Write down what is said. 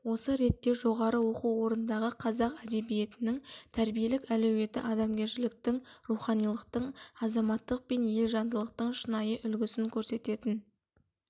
осы ретте жоғары оқу орындарындағы қазақ әдебиетінің тәрбиелік әлеуеті адамгершіліктің руханилықтың азаматтық пен ел жандылықтың шынайы үлгісін көрсететін